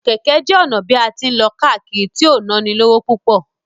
Kẹ́kẹ́ jẹ́ ọ̀nà bí a tí ń lọ káàkiri tí ò nánilówó púpọ̀.